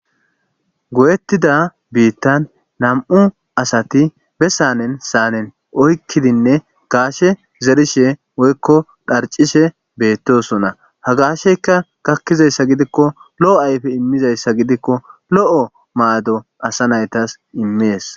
Goyettida biittan nam'u asati bessanen saanen oykkidinne gaashe zerishe woykko dharcishe beettosona ha gaasheyka gakkizayssa gidikko lo'o ayfe immizayssa gidikko lo'o maado asa naytas immees